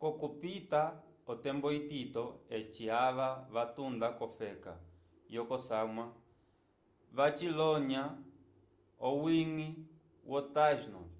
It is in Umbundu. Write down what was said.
k'okupita otembo itito eci ava vatunda kofeka yokosamwa vacikolonya owiñgi wo tainos